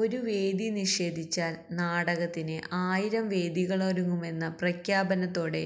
ഒരു വേദി നിഷേധിച്ചാൽ നാടകത്തിന് ആയിരം വേദികളൊരുങ്ങുമെന്ന പ്രഖ്യാപനത്തോടെ